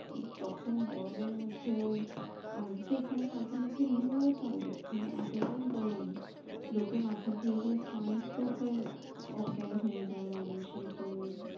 তখন গরমের মধ্যে ওই আমাদের তো এখানে মাঝে মাঝে লু ও চলে এতটাই গরম লোকে মাথা ঘুরে ঘুরে sun stroke হয়ে অজ্ঞান হয়ে যায় মানুষে তো